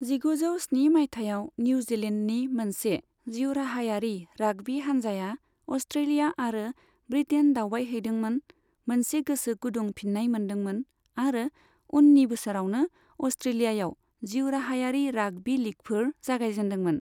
जिगुजौ स्नि मायथाइयाव, निउजिलेण्डनि मोनसे जिउराहायारि राग्बी हानजाया अस्ट्रेलिया आरो ब्रिटेन दावबायहैदोंमोन, मोनसे गोसो गुदुं फिन्नाय मोन्दोंमोन, आरो उननि बोसोरावनो अस्ट्रेलियायाव जिउराहायारि राग्बी लीगफोर जागायजेनदोंमोन।